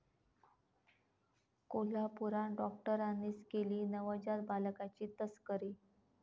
कोल्हापूरात डॉक्टरांनीच केली नवजात बालकांची तस्करी!